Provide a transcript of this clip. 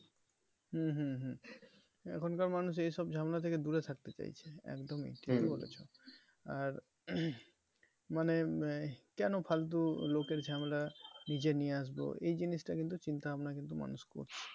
হম হম হম এখনকার মানুষ এই সব ঝামেলা থেকে দূরে থাকতে চাইছে একদমই বলেছো আর মানে আহ মানে কেন ফালতু লোকের ঝামেলা নিজে নিয়ে আসবো এই জিনিসটা কিন্তু চিন্তা ভাবনা কিন্তু মানুষ করছে।